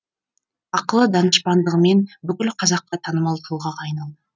ақылы данышпандығымен бүкіл қазаққа танымал тұлғаға айналды